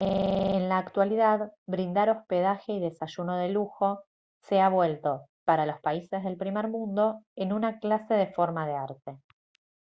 en la actualidad brindar hospedaje y desayuno de lujo se ha vuelto para los países del primer mundo en una clase de forma de arte